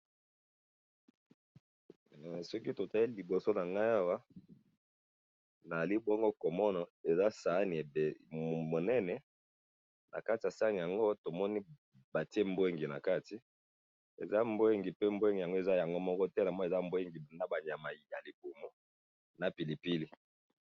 Soki totali liboso na ngai awa naali bongo komona eza saani munene na kati ya saani yango tomoni batie mbwenge na kati ,eza mbwenge pe mbwenge yango eza yango moko te, eza mbwenge pe na ba nyama ya libumu na pilipili